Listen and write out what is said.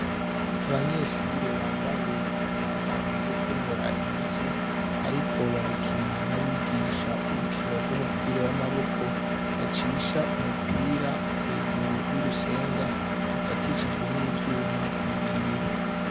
Abanyeshure bambaye imyambaro yo kwinonora imitsi bariko barakina nabigisha urukino rw'umupira w'amaboko bacisha umupira hejuru y'urusenga rufatishijwe n'ivyuma bibiri.